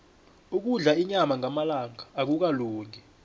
ukudla inyama ngamalanga akukalungi